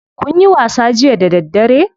Kunyi wasa jiya da daddare?